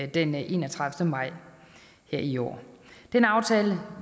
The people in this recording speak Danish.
den enogtredivete maj i år den aftale